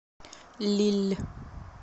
лилль